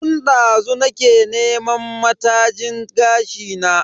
Tun dazu nake neman matajin gashi na.